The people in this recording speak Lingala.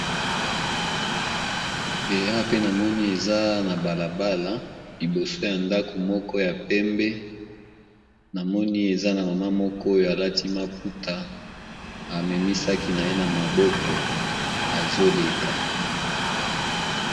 Eza balabala liboso ya ndako ya pembe, na Maman moko alati maputa , amemi saki naye na maboko azo leka.